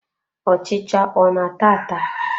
Ọchịcha ọ na-ata ata?